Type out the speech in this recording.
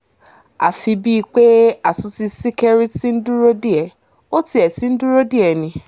àfi bíi pé àtúntí ṣìkẹ̀rì tí ń dúró dè é ó tiẹ̀ ti ń dúró dè é ni